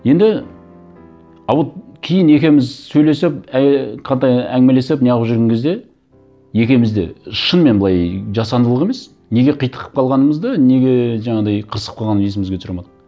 енді а вот кейін екеуіміз сөйлесіп ыыы қайта әңгімелесіп не қылып жүрген кезде екеуіміз де шынымен былай жасандылық емес неге қитығып калғанымызды неге жаңағыдай қырсығып қалғанын есімізге түсіре алмайдық